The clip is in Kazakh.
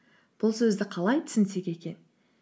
бұл сөзді қалай түсінсек екен